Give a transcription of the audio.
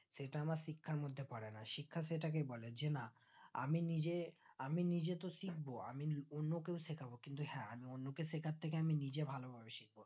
সেটা আমার শিক্ষার মধ্যে পরে না শিক্ষা সেটাকেই বলে যে না আমি নিজে আমি নিজে তো শিখবো আমি অন্য কেও শেখাবো কিন্তু হ্যাঁ আমি অন্যকে শেখার থেকে আমি নিজে ভালো ভাবে শিখবো